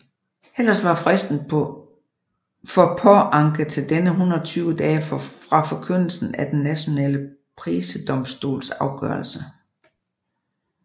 Ellers var fristen for påanke til denne 120 dage fra forkyndelsen af den nationale prisedomstols afgørelse